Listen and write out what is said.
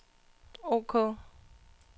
ok